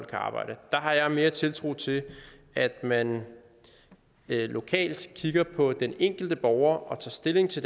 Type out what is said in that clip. kan arbejde der har jeg mere tiltro til at man lokalt kigger på den enkelte borger og tager stilling til